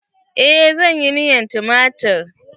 Eh zan yi miyar tumatir.